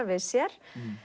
við sér